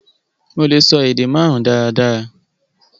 Mo lè sọ èdè màrùn daradara